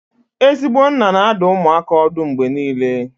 Ezigbo nna na-adụ ụmụaka ọdụ mgbe niile